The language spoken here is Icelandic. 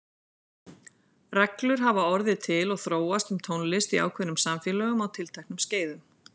Reglur hafa orðið til og þróast um tónlist í ákveðnum samfélögum á tilteknum skeiðum.